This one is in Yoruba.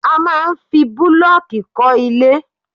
A máa ń fi bulooki kọ́ ilẹ̀